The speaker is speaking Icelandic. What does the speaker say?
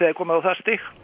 er komið á það stig